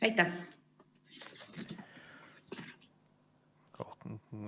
Aitäh!